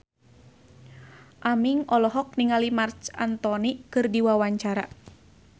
Aming olohok ningali Marc Anthony keur diwawancara